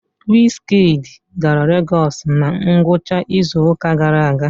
wizkid gara lagos na ngwụcha izuụka gara aga?